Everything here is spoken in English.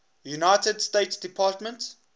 united states department